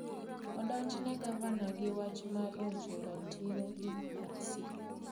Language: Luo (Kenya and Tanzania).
Odonjene Gavana gi wach mar rocho ratiro DRC